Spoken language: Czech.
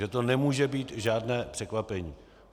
Takže to nemůže být žádné překvapení.